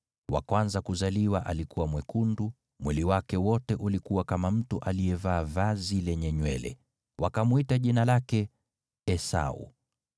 Wa kwanza kuzaliwa alikuwa mwekundu, mwili wake wote ulikuwa kama mtu aliyevaa vazi lenye nywele; wakamwita jina lake Esau.